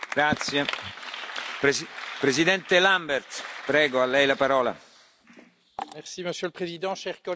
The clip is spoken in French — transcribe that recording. Monsieur le Président, chers collègues, il y a dix ans, alors que je venais d'intégrer le Parlement européen, le traité de Lisbonne entrait en vigueur.